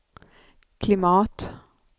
klimat